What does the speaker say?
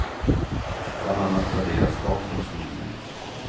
Bland annat raderas datorns minne ut.